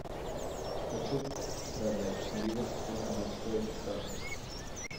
хочу продать ливр сколько будет стоить в франках